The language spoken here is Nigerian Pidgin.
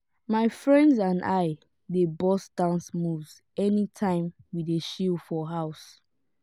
my friends and i dey burst dance moves anytime we dey chill for house.